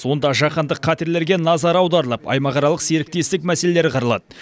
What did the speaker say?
онда жаһандық қатерлерге назар аударылып аймақаралық серіктестік мәселелері қаралады